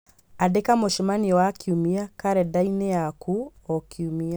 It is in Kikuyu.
Andĩka mũcemanio wa kiumia karendanĩ yaku o kiumia